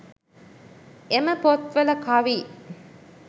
එම පොත්වල කවි